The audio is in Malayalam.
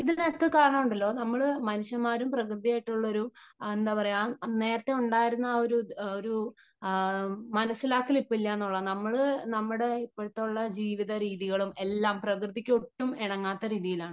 ഇതിനൊക്കെ കാരണം ഉണ്ടല്ലോ നമ്മള് മനുഷ്യന്മാരും പ്രകൃതിയുമായിട്ടുള്ള ഒരു എന്താ പറയാ നേരത്തെ ഉണ്ടായിരുന്ന ഒരു ആര് ആ അ മനസ്സിലാക്കൽ ഇപ്പോ ഇല്ല എന്നുള്ളതാണ് . നമ്മള് നമ്മുടെ ഇപ്പതുള്ള ജീവിതരീതികളും എല്ലാം പ്രകൃതിക്ക് ഒട്ടും ഇണങ്ങാത്ത രീതിയിലാണ് .